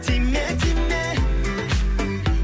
тиме тиме